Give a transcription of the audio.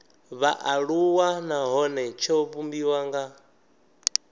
vhaaluwa nahone tsho vhumbiwa nga